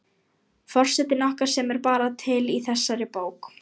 Forsetinn okkar sem er bara til í þessari bók